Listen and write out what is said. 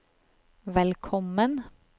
velkommen